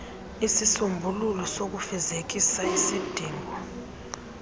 isisombululo sokufezekisa isidingo